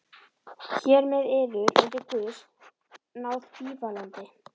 Hér með yður undir guðs náð bífalandi.